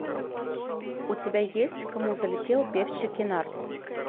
у тебя есть к кому залетел певчий кенар